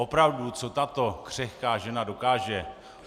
Opravdu, co tato křehká žena dokáže.